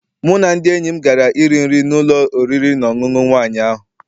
Mụ na ndị enyi m gara I ri nri na n'ụlọ oriri na ọṅụṅụ nwaanyị ahụ.